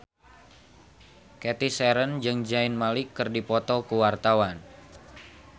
Cathy Sharon jeung Zayn Malik keur dipoto ku wartawan